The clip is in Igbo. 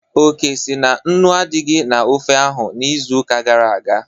Oke sị na nnu adịghị na ofe ahụ izuụka gara aga